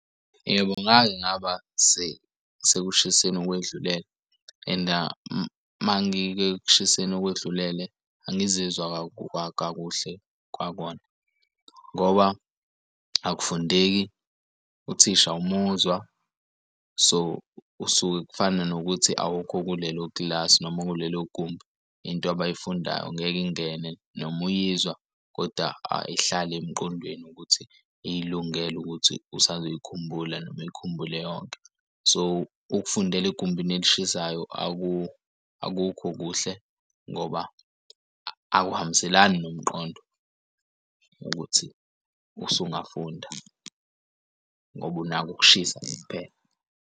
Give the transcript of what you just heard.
Yebo, ngake ngaba sekushiseni kwedlulele enda mangike kushiseni okwedlulele angizizwa kakuhle kwakona ngoba akufundeki uthisha uwumuzwa so usuke kufana nokuthi awukho kulelo class noma kulelo gumbi. Into abay'fundayo ngeke ingene noma uyizwa koda ayihlali emqondweni ukuthi ilungele ukuthi usazoyikhumbula noma ikhumbule yonke. So ukufundela egumbini elishisayo akukho kuhle ngoba akuhambiselani nomqondo ukuthi usungafunda ngoba unaka ukushisa kuphela.